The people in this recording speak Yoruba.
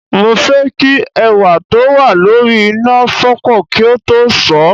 Mo fẹ́ kí ẹ̀wà tó wà lórí iná fọ́pọ̀ kí n tó sọ̀ ọ́